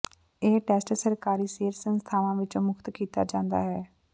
ਇਹ ਟੈਸਟ ਸਰਕਾਰੀ ਸਿਹਤ ਸੰਸਥਾਵਾਂ ਵਿੱਚ ਮੁਫਤ ਕੀਤਾ ਜਾਂਦਾ ਹੈ